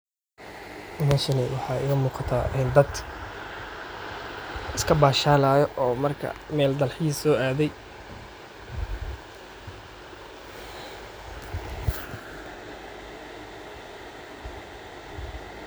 Meshani waxaa iga muuqataa in dad iska bashaalayo oo marka meel dalxiis loo adey.